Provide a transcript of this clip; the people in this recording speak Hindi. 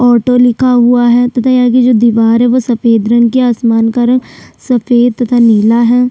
ऑटो लिखा हुआ है तथा यहाँ की जो दीवार हैं वो सफेद रंग की है आसमान का रंग सफेद तथा नीला है।